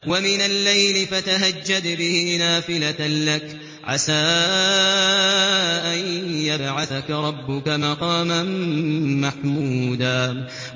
وَمِنَ اللَّيْلِ فَتَهَجَّدْ بِهِ نَافِلَةً لَّكَ عَسَىٰ أَن يَبْعَثَكَ رَبُّكَ مَقَامًا مَّحْمُودًا